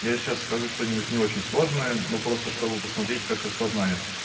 я сейчас скажу что-нибудь не очень сложное но просто чтобы посмотреть как распознает